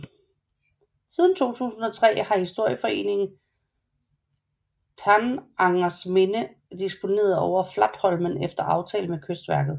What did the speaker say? Siden 2003 har historieforeningen Tanangers Minne disponeret over Flatholmen efter aftale med Kystverket